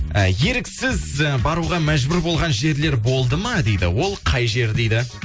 і еріксіз і баруға мәжбүр болған жерлер болды ма дейді ол қай жер дейді